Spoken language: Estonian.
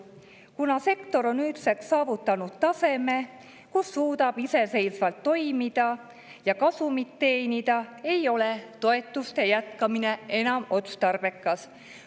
Kuna sektor on nüüdseks saavutanud taseme, kus ta suudab iseseisvalt toimida ja kasumit teenida, ei ole toetuste jätkamine enam otstarbekas.